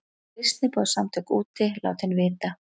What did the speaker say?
Kristniboðssamtök úti látin vita